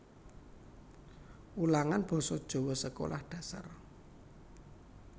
Wulangan Basa Jawa Sekolah Dasar